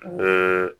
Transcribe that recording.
N ye